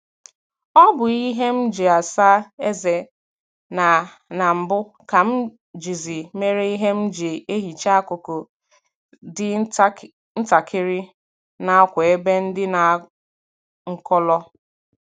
Ọ bụ ihe m ji asa eze na na mbụ ka m jizi mere ihe m ji ehicha akụkụ dị ntakịrị nakwa ebe ndị na nkọlọ